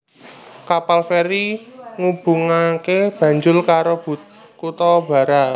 Kapal feri ngubungaké Banjul karo kutha Barra